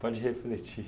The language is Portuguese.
Pode refletir.